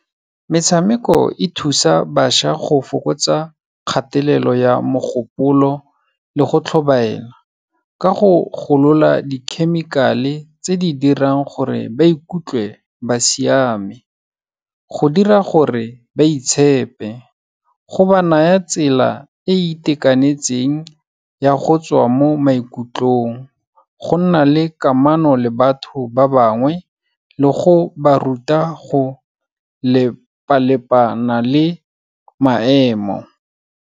Metshameko e thusa bašwa go fokotsa kgatelelo ya mogopolo le go tlhobaela, ka go golola di-chemical-e tse di dirang gore ba ikutlwe ba siame. Go dira gore ba itshepe, go ba naya tsela e e itekanetseng ya go tswa mo maikutlong, go nna le kamano le batho ba bangwe le go ba ruta go lepalepana le maemo.